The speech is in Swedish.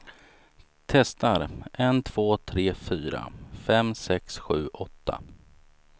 Testar en två tre fyra fem sex sju åtta.